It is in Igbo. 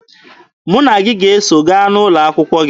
Mụ na gị ga-eso gaa n'ụlọ akwụkwọ gị.